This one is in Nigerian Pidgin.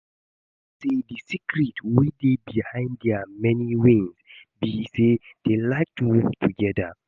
I hear say the secret wey dey behind their many wins be say dey like to work together